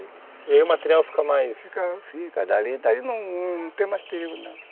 E aí o material fica mais... Fica, dali dali não tem mais perigo não.